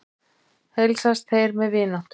Heilsast þeir með vináttu.